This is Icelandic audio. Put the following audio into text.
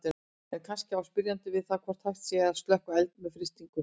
En kannski á spyrjandi við það hvort hægt sé að slökkva eld með frystingu.